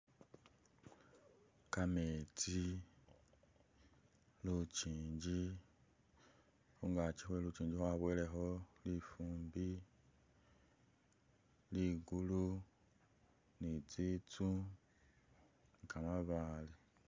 Kametsi, lutsinji, hungachi hwelutsinji hwaboweleho lifumbi, ligulu ni tsitsu ni kamabaale.